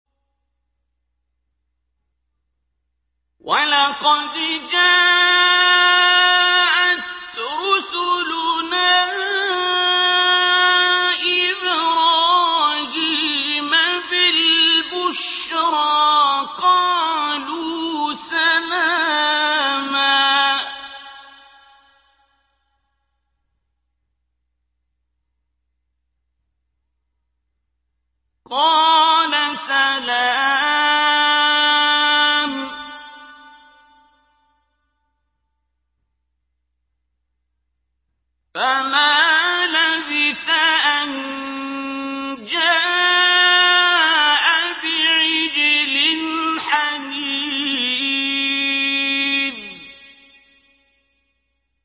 وَلَقَدْ جَاءَتْ رُسُلُنَا إِبْرَاهِيمَ بِالْبُشْرَىٰ قَالُوا سَلَامًا ۖ قَالَ سَلَامٌ ۖ فَمَا لَبِثَ أَن جَاءَ بِعِجْلٍ حَنِيذٍ